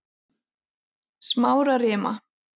Smárarima